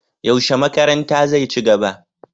Yaushe makaranta zai ci gaba?